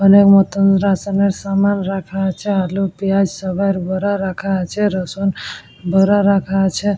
মনের মত রাশনের সামার রাখা আছে আলু পিয়াজ সবার বরা রাখা আছে। রসুন ভরা রাখা আছে।